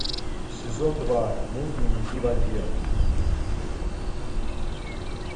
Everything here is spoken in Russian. сезон два мульт дневники вампира